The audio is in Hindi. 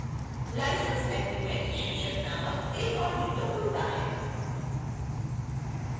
license agreement शीर्षक नामक एक ओर window खुलता है